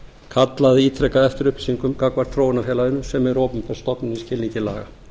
kallað ítrekað eftir upplýsingum gagnvart þróunarfélaginu sem er opinber stofnun í skilningi laga